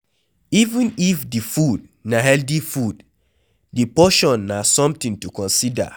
Even if di food na healthy food, di portion na something to consider